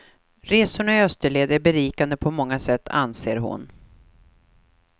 Resorna i österled är berikande på många sätt, anser hon.